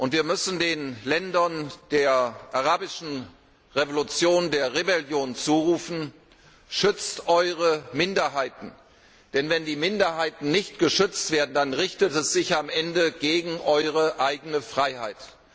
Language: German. Wir müssen den Ländern der Arabischen Revolution, der Rebellion zurufen Schützt eure Minderheiten, denn wenn die Minderheiten nicht geschützt werden, dann richtet es sich am Ende gegen eure eigene Freiheit.